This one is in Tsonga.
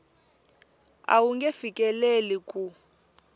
a wu nge fikeleli ku